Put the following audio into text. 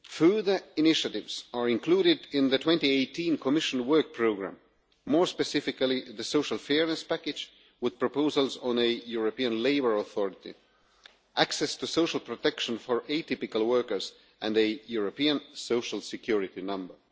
Further initiatives are included in the 2018 Commission Work Programme, more specifically the social fairness package with proposals on a European Labour Authority, access to social protection for atypical workers and a European social security number.